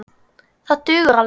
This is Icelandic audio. Það dugar alveg.